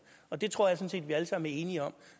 og det tror jeg sådan set vi alle sammen er enige om